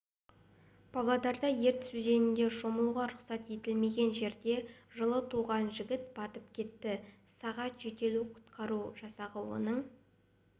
павлодарда ертіс өзеніндешомылуға рұқсат етілмеген жерде жылы туған жігіт батып кетті сағат жедел құтқару жасағы оның